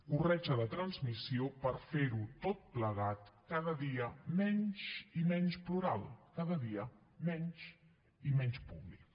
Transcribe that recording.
corretja de transmissió per fer ho tot plegat cada dia menys i menys plural cada dia menys i menys públic